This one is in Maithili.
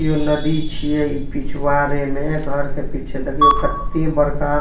एगो नदी छिये इ पिछवाड़े में घर के पिछे देखियो कते बड़का --